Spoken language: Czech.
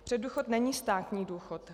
Předdůchod není státní důchod.